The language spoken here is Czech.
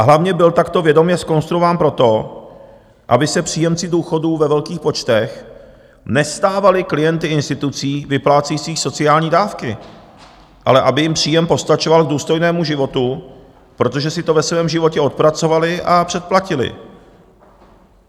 A hlavně byl takto vědomě zkonstruován proto, aby se příjemci důchodů ve velkých počtech nestávali klienty institucí vyplácejících sociální dávky, ale aby jim příjem postačoval k důstojnému životu, protože si to ve svém životě odpracovali a předplatili.